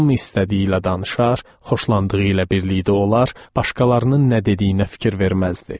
Hamı istədiyi ilə danışar, xoşlandığı ilə birlikdə olar, başqalarının nə dediyinə fikir verməzdi.